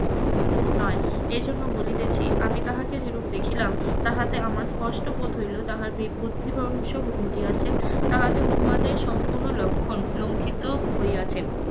নয়, এর জন্য বলিতেছি আমি তাহাকে যেরূপ দেখিলাম তাহাতে আমার স্পষ্ট বোধ হইলো তাহার বেগ বুদ্ধি ঘটিয়াছে তাহাতে উন্মাদের সম্পূর্ণ লক্ষণ লঙ্ঘিত হইয়াছে